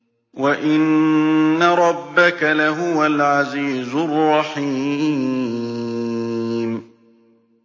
وَإِنَّ رَبَّكَ لَهُوَ الْعَزِيزُ الرَّحِيمُ